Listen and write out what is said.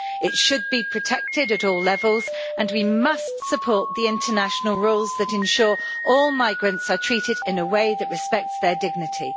It should be protected at all levels and we must support the international rules that ensure all migrants are treated in a way that respects their dignity.